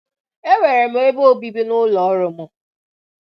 E nwere m ebe obibi n'ụlọọrụ m.